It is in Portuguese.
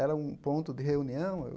Era um ponto de reunião. Eu